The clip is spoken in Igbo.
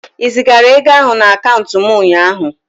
Ị zigara ego ahụ na akaụntụ m ụnyaahụ?